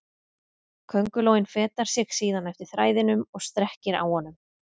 Köngulóin fetar sig síðan eftir þræðinum og strekkir á honum.